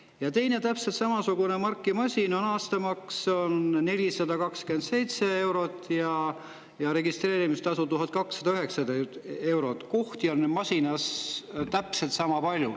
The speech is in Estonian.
Ja teise täpselt sama marki masina aastamaks on 427 eurot ja registreerimistasu 1209 eurot, kohti on täpselt sama palju.